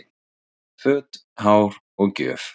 Föt, hár og gjöf